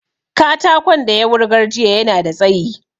Katakon da ya wurgar jiya yana da tsayi